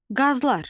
Qazlar.